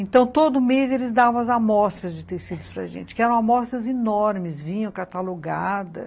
Então, todo mês, eles davam as amostras de tecidos para gente, que eram amostras enormes, vinham catalogadas.